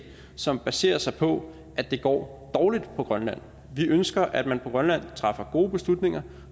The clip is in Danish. som baserer sig på at det går dårligt på grønland vi ønsker at man på grønland træffer gode beslutninger